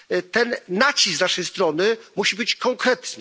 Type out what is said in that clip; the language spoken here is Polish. Ten nacisk z naszej strony musi być konkretny.